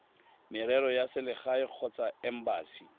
merero ya selegae kgotsa embasi